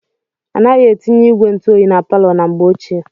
Anaghị etinye ígwè ntụoyi na palọ na mgbe ochie.